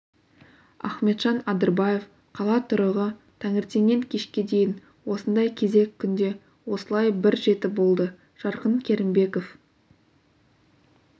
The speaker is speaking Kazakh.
ахметжан адырбаев қала тұрығы таңертеннен кешке дейін осындай кезек күнде осылай бір жеті болды жарқын керімбеков